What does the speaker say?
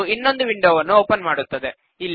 ಇದು ಇನ್ನೊಂದು ವಿಂಡೋ ವನ್ನು ಓಪನ್ ಮಾಡುತ್ತದೆ